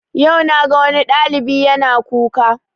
Yau na ga wani ɗalibi yana kuka